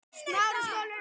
FÚSA LIGGUR Á